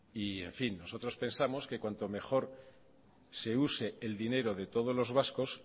y en fin nosotros pensamos que cuanto mejor se use el dinero de todos los vascos